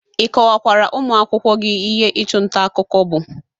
Ị kọwakwara ụmụakwụkwọ gi ihe ịchụ nta akụkọ bụ?